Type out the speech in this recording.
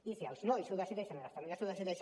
i si els nois ho decideixen i les famílies ho decideixen